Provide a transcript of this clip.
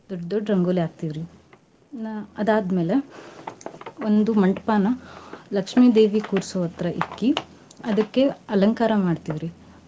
ದೊಡ್ಡ್ ದೊಡ್ಡ್ ರಂಗೋಲಿ ಹಾಕ್ತೇವ್ ರೀ. ಇನ್ನ ಅದಾದ್ ಮೇಲೆ ಒಂದು ಮಂಟ್ಪಾನ ಲಕ್ಷ್ಮೀ ದೇವಿ ಕುಡ್ಸೋ ಹತ್ರ ಇಕ್ಕಿ ಅದಕ್ಕೆ ಅಲಂಕಾರ ಮಾಡ್ತಿವ್ರಿ